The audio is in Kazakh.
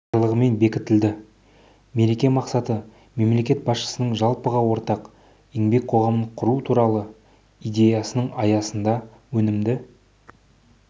жарлығымен бекітілді мереке мақсаты мемлекет басшысының жалпыға ортақ еңбек қоғамын құру туралы идеясының аясында өнімді